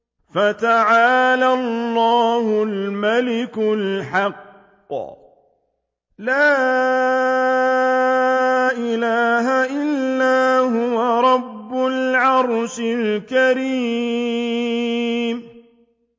فَتَعَالَى اللَّهُ الْمَلِكُ الْحَقُّ ۖ لَا إِلَٰهَ إِلَّا هُوَ رَبُّ الْعَرْشِ الْكَرِيمِ